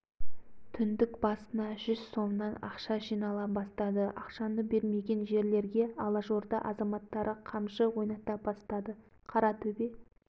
жаңа жауласып отырған екі жақ айқасып арсалақтап құшақтасты бұдан кейін алашорда құрыла бастады милиция әскер жасала